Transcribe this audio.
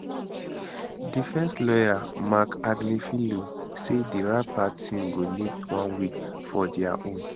defence lawyer marc agnifilo say di rapper team go need one week for dia own